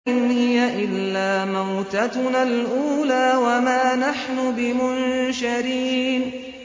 إِنْ هِيَ إِلَّا مَوْتَتُنَا الْأُولَىٰ وَمَا نَحْنُ بِمُنشَرِينَ